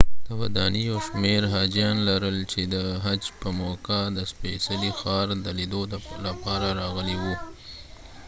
ودانۍ یو شمیر حاجیان لرل چې د حج په موقعه د سپېڅلي ښار د لیدو لپاره راغلي وو